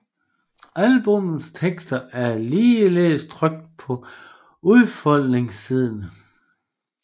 Albummets tekster er ligeledes trykt på udfoldningssiden